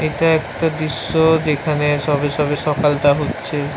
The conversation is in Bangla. এইটা একটা দির্শ যেখানে সবে সবে সকাল হচ্ছে।